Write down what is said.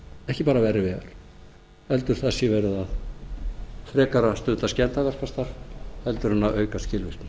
ekki bara verri vegar heldur það sé frekar verið að stunda skemmdarverkastarf heldur en að auka skilvirkni